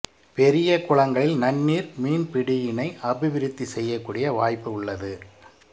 பெரிய குளங்களில் நன்னீர் மீன்பிடியினை அபிவிருத்தி செய்யக்கூடிய வாய்ப்பு உள்ளது